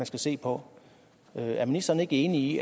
skal se på er ministeren ikke enig